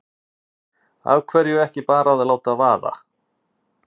Af hverju ekki bara að láta vaða?